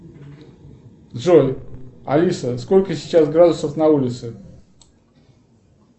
джой алиса сколько сейчас градусов на улице